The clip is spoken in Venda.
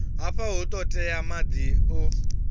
hafha hu ṱoḓea maḓi o